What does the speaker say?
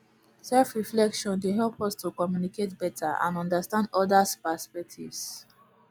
selfreflection dey help us to communicate beta and understand odas perspectives